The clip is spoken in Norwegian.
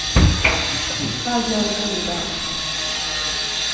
hva gjør jeg idag